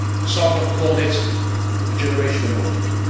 Some have called it a generation in waiting'.